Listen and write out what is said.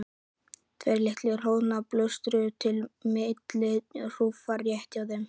Tveir litlir hnoðrar bösluðu milli þúfna rétt hjá þeim.